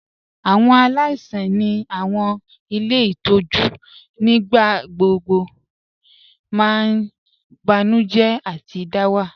Awọn aláìsàn ni awọn ilẹ̀ itọju nígbàgbọ̀gbọ̀ mà n bànújẹ̀ àti dàwà.